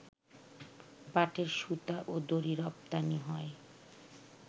পাটের সুতা ও দড়ি রপ্তানি হয়